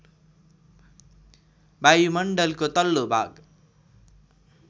वायुमण्डलको तल्लो भाग